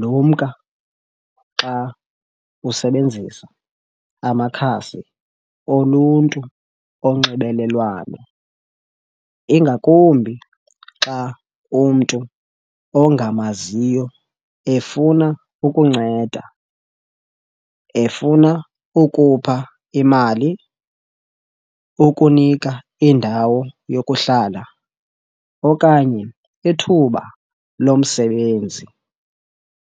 Lumka xa usebenzisa amakhasi oluntu onxibelelwano, ingakumbi xa umntu ongamaziyo efuna ukunceda, efuna ukupha imali, ukunika indawo yokuhlala okanye ithuba lomsebenzi